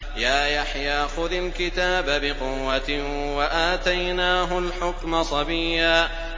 يَا يَحْيَىٰ خُذِ الْكِتَابَ بِقُوَّةٍ ۖ وَآتَيْنَاهُ الْحُكْمَ صَبِيًّا